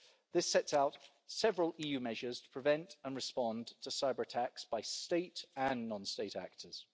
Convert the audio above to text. This sets out several EU measures to prevent and respond to cyber-attacks by state and non-state actors.